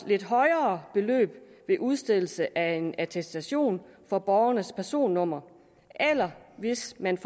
lidt højere beløb ved udstedelse af en attestation af borgerens personnummer eller hvis man